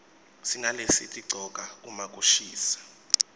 sinalesitigcoka uma kushisa